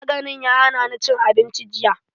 Maganin ya hanani cin abinci jiya